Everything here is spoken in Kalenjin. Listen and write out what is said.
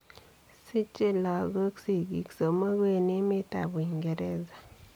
Sichei logook sigiik somogu en emet ab Uingereza.